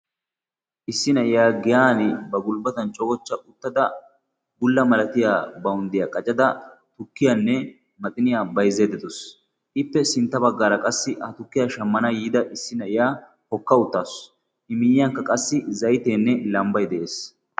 Issi na'iyaa giyani ba gulbbatan cogochcha uttada bulla malatiya bawunddiya qacada tukkiyanne maxiniyaa bayzzaydda dawus. ippe sintta baggaara qassi ha tukkiya shammana yiida na'iyaa qassi hokka uttaasu. i miyyiyankka qassi zayteenne lambbay de'ees.